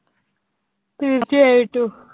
തീർച്ചയായിട്ടും